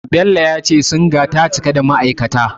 Bello ya ce Singa ta cika da ma'aikata.